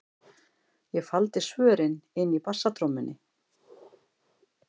Ég faldi svörin inni í bassatrommunni.